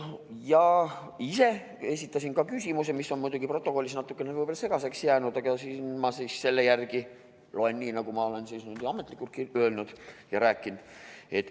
Ma ise esitasin küsimuse, mis on protokollis võib-olla natukene segaseks jäänud, aga ma loen siis selle ette nii, nagu ma ametlikult olen öelnud ja rääkinud.